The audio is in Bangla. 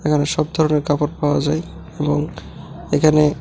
এখানে সব ধরনের কাপড় পাওয়া যায় এবং এখানে--